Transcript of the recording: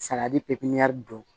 Saladi pipiniyɛri don